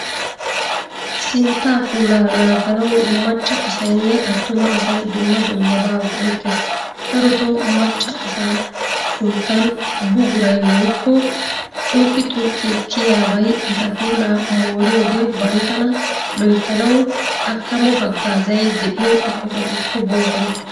Sintta puulaa naaganawu macca asaynne attuma asay dumma dummaba go'ettees. Darotto macca asaa sinttan bugguray woykko xuqqi xuqqi kiyiyabay etta puulaa mooriyodee banttana loyttanawu akkamo hagazzay de'iyo eqqotattukko boosona.